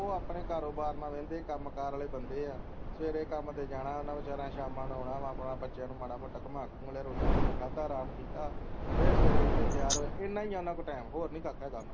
ਉਹ ਆਪਣੇ ਕਾਰੋਬਾਰ ਨਾਲ ਵਹਿੰਦੇ ਹੈਂ ਕੰਮਕਾਰ ਵਾਲੇ ਬੰਦੇ ਹੈ ਸਵੇਰੇ ਕੰਮ ਤੇ ਜਾਣਾ ਓਹਨਾ ਵਿਚਾਰਿਆਂ ਨੇ ਸ਼ਾਮਾਂ ਨੂੰ ਆਣਾ ਬੱਚਿਆਂ ਨੂੰ ਮਾੜਾ ਮੋਟਾ ਘੁਮਾ ਘੁੰਮੂ ਲਿਆ ਰੋਟੀ ਪਾਣੀ ਖਾਧਾ ਅਰਾਮ ਕੀਤਾ ਫੇਰ ਸਵੇਰ ਉੱਠੇ ਤਿਆਰ ਹੋਏ ਇਨ੍ਹਾਂ ਹੀ ਹੈ ਉਹਨਾਂ ਕੋਲ ਟਾਈਮ ਹੋਰ ਨੀ ਕਾਕਾ ਹੈਗਾ